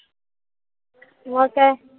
मग काय.